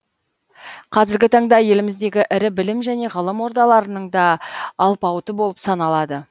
қазіргі таңда еліміздегі ірі білім және ғылым ордаларының да алпауыты болып саналады